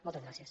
moltes gràcies